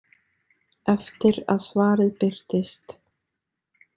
Eftir að svarið birtist.